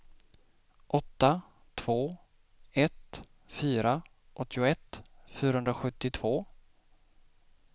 åtta två ett fyra åttioett fyrahundrasjuttiotvå